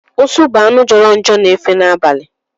Ụsụ bụ anụ jọrọ njọ na-efe n'abalị.